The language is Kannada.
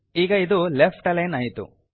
ಈಗ ಇದು ಲೆಫ್ಟ್ ಅಲೈನ್ ಆಯಿತು